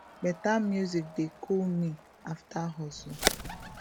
better music dey cool me after hustle